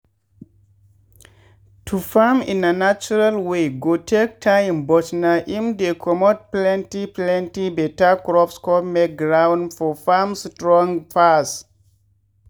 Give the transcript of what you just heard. to farm in a natural way go take time but na im dey comot plenty plenty better crops con make ground for farm strong pass.